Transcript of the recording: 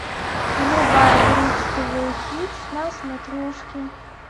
врубай бридж тв хитс на смотрешке